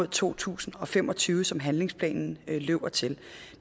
to tusind og fem og tyve som handlingsplanen løber til